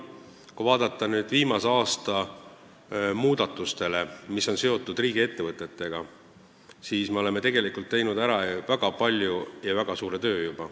Kui vaadata viimase aasta muudatustele, mis on seotud riigiettevõtetega, siis me näeme, et me oleme juba ära teinud väga palju, väga suure töö.